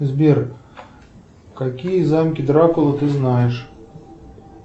сбер какие замки дракулы ты знаешь